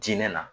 Diinɛ na